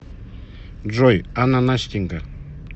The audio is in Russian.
джой ананастенька